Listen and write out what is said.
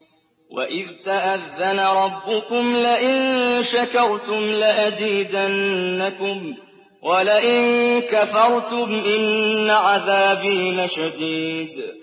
وَإِذْ تَأَذَّنَ رَبُّكُمْ لَئِن شَكَرْتُمْ لَأَزِيدَنَّكُمْ ۖ وَلَئِن كَفَرْتُمْ إِنَّ عَذَابِي لَشَدِيدٌ